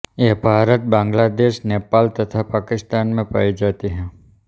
ये भारत बांग्लादेश नेपाल तथा पाकिस्तान में पाई जाती हैं